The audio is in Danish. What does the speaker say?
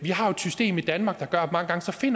vi har jo et system i danmark der gør